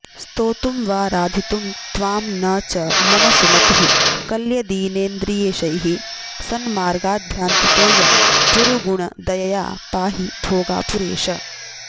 स्तोतुं वाऽऽराधितुं त्वां न च मम सुमतिः कल्यदीनेन्द्रियेशैः सन्मार्गाद्भ्रान्तितोऽयं पुरुगुण दयया पाहि भोगापुरेश